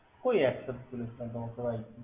কই একশতে তোমাকে বাইক দিয়ে।